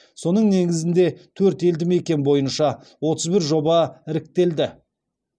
соның негізінде төрт елді мекен бойынша отыз бір жоба іріктелді